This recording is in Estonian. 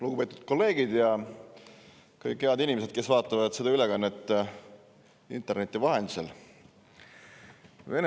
Lugupeetud kolleegid ja kõik head inimesed, kes vaatavad seda ülekannet interneti vahendusel!